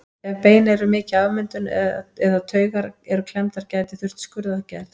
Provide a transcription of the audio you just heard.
Ef bein eru mikið afmynduð eða taugar eru klemmdar gæti þurft skurðaðgerð.